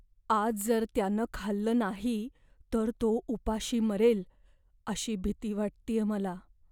आज जर त्यानं खाल्लं नाही तर तो उपाशी मरेल अशी भीती वाटतेय मला.